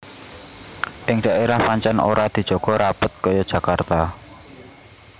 Ing daérah pancèn ora dijaga rapet kaya Jakarta